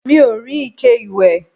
mi ò rí ike ìwẹ̀